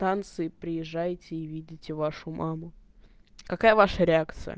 станции приезжайте видите вашу маму какая ваша реакция